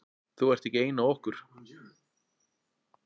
Þú ert ekki ein af okkur.